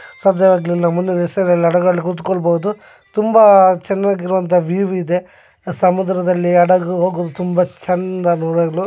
ಸಾಧ್ಯ ಆಗ್ಲಿಲ್ಲ ಮುಂದಿನ ದಿವಸಗಳಲ್ಲಿ ಹಡಗಲ್ಲಿ ಕುತ್ಕೊಬಹುದು ತುಂಬಾ ಚೆನ್ನಾಗಿರುವಂತಹ ವಿವ್ಯೂ ಇದೆ ಸಮುದ್ರದಲ್ಲಿ ಹಡಗು ಹೋಗುವುದು ತುಂಬಾ ಚಂದ ನೋಡಲು.